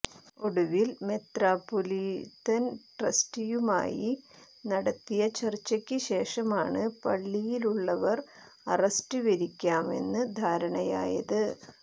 ഒടുവിൽ മെത്രാപ്പൊലീത്തൻ ട്രസ്റ്റിയുമായി നടത്തിയ ചർച്ചക്ക് ശേഷമാണ് പള്ളിയിലുള്ളവർ അറസ്റ്റ് വരിക്കാമെന്ന് ധാരണയായത്